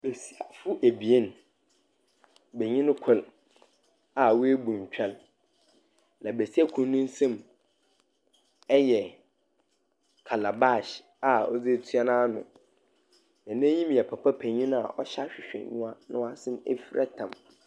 Nkorɔfo ebien, benyin kor a oebu ntwɛr, na besia kor ne nsam yɛ calabash a ɔdze etua n'ano. Na n'enyim yɛ papa penyin a ɔhyɛ ahwehwɛnyima na ɔasan oefira tam.